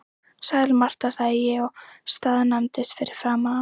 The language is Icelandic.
Sæl Marta, sagði ég og staðnæmdist fyrir framan hana.